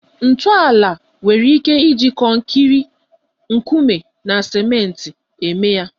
Ntọala nwere ike iji kọnkịri, nkume na ciment eme ya